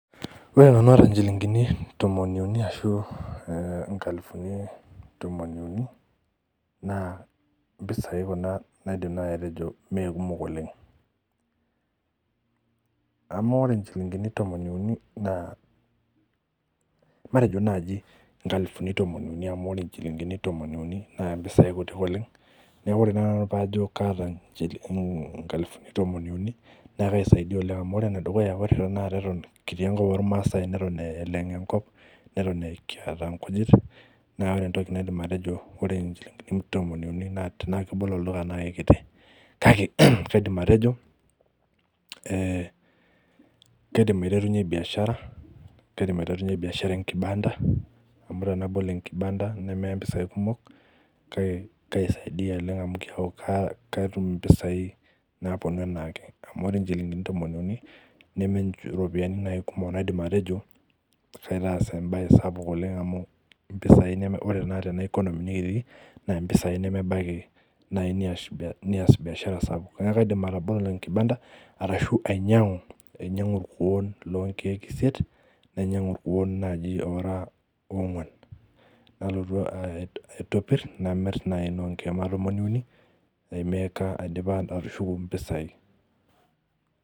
Ore tenkata chilingini tomon uni ashu nkalifuni tomon uni naa mpisai Kuna naidim naaji atejo mee kumok oleng amu ore njilingini tomon uni naa matejo naaji nkalifuni tomon uni amu ore njilingini tomon uni naa mpisai kutik oleng neeku ore naaji pee Ajo kataa nkalifuni tomon uni neeku keisaidia oleng amu ore tanakata ene dukuya Eton kitii enkop ormaasai neton eleng enkop neton kiata enkishu naa ore entoki naidim atejo ore njilingini tomon uni tenaa kebol olduka naa ekiti kaidim atejo kaidim aiterunyie biashara enkibanda amu tenabol enkibanda nemeya mpisai kumok keisaidia oleng amu keeku kaatum mpisai naapuonu enaake amu ore njilingini tomon uni neme eropiani naaji naidim atejo kaidim aitasa aitoki amu ore Tena economy nikitii naa mpisai nemebaiki aitoki nemebaiki naaji neas biashara sapuk neeku kaidim atabolo enkibanda arashu ainyiang'u irkuoo leee nkeek esiet nainyiang'u naaji irkuoo oraa oo nguan nalotu aitpir naamiri naaji too nkeek tomon uni aimeka aidipa atushuku mpisai